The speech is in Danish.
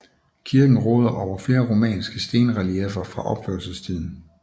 Kirken råder over flere romanske stenrelieffer fra opførelsestiden